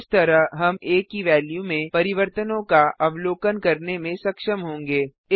इस तरह हम आ की वेल्यू में परिवर्तनों का अवलोकन करने में सक्षम होंगे